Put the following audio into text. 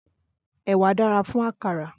Ẹ̀wà dára fún àkàrà.